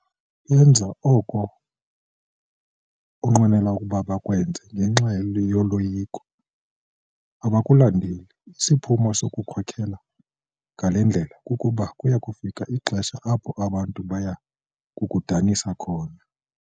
Benza oko unqwenela ukuba bakwenze ngenxa yoloyiko, abakulandeli. Isiphumo sokukhokela ngale ndlela kukuba kuya kufika ixesha apho abantu baya kukudanisa khona.